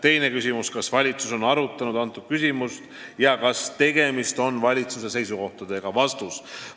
" Teine küsimus: "Kas valitsus on arutanud antud küsimust ja kas tegemist on valitsuse seisukohaga?